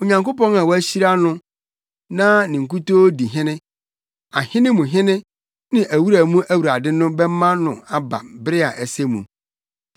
Onyankopɔn a wɔahyira no na ne nkutoo di Hene, Ahene mu Hene ne Awura mu Awurade no bɛma no aba bere a ɛsɛ mu.